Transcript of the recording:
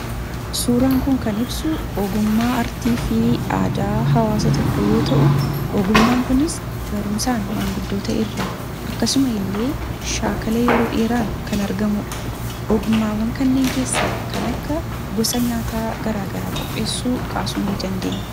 Suuraan kun kan ibsu ogummaa artii fi aadaa hawaasa tokko yoo ta'u ogummaan kunis barumsaan maanguddoota irraa akkasuma illee shaakala yeroo dheeraan kan argamuudha. Ogummaawwan kanneen keessaa kan akka gosa nyaataa garaagaraa qopheessuu kaasuu ni dandeenya